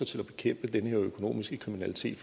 til at bekæmpe den her økonomiske kriminalitet